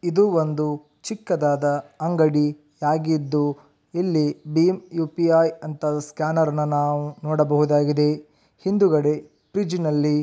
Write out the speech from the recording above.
ಇದೊಂದು ಚಿಕ್ಕದಾದ ಅಂಗಡಿಯಾಗಿದೆ ಇಲ್ಲಿ ಬೀಮ್ ಯುಪಿಐ ಸ್ಕ್ಯಾನರ್ ನ ನಾವು ನೋಡಬಹುದು ಹಿಂದೆಗಡೆ ಫ್ರಿಡ್ಜ್ ನಲ್ಲಿ--